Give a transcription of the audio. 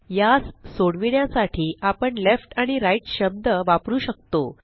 यास सोडविण्यासाठी आपण लेफ्ट आणि राइट शब्द वापरु शकतो